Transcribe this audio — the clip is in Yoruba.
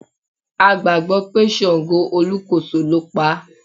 A gbàgbọ́ pé ṣàǹgó olúkòso ló paá.